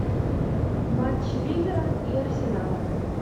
матч ливера и арсенала